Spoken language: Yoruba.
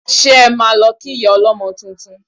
Ṣé ẹ máa lọ kí ìyá ọlọ́mọ tuntun?